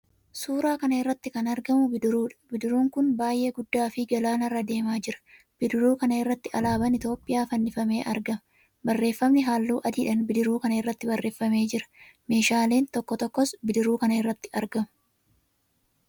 Suuraa kana irratti kan argamu bidiruudha. Bidiruun kun baay'ee guddaafi gaalanarra deemaa jira. Bidiruu kana irratti alaabaan Itiyoophiyaa fannifamee argama. Barreefamni halluu adiidhaan bidiruu kana irratti barreeffamee jira. Meeshaaleen tokko tokkos bidiruu kana irratti argamu.